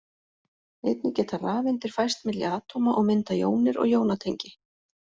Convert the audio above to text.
Einnig geta rafeindir færst milli atóma og myndað jónir og jónatengi.